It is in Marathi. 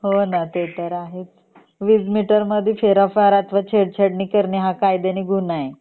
हो ना ते तर आहेच वीज मीटर mdhe फेरफार छेड छाड करणे हा कायद्याने गुन्हा आहे